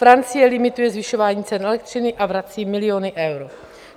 Francie limituje zvyšování cen elektřiny a vrací miliony eur.